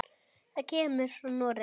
Það kemur frá Noregi.